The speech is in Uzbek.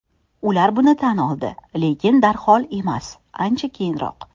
Ular buni tan oldi, lekin darhol emas, ancha keyinroq.